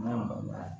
Mɛ